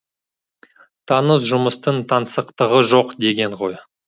таныс жұмыстың таңсықтығы жоқ деген ғой